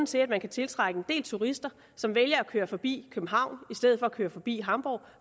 til at man kan tiltrække en del turister som vælger at køre forbi københavn i stedet for at køre forbi hamborg